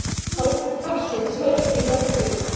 Hátíð hafsins hófst í morgun.